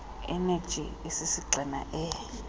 eneji esisigxina e